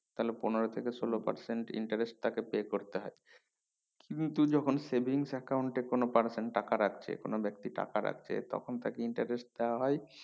তাহলে পনেরো থেকে সোলো percent interest তাকে pay করতে হয় কিন্তু যখন savings account এ কোনো person টাকা রাখছে কোনো ব্যাক্তি টাকা রাখছে তখন interest দেওয়া হয়